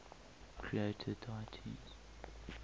creator deities